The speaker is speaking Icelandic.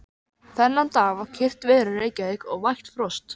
Þennan dag var kyrrt veður í Reykjavík og vægt frost.